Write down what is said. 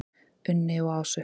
Unni og Ásu.